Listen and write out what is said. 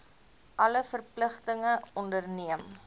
alle verpligtinge onderneem